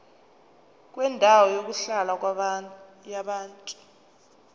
kwendawo yokuhlala yabantu